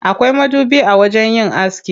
Akwai madubi a wajen yin aski.